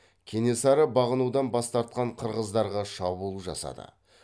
кенесары бағынудан бас тартқан қырғыздарға шабуыл жасады